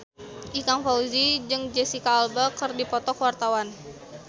Ikang Fawzi jeung Jesicca Alba keur dipoto ku wartawan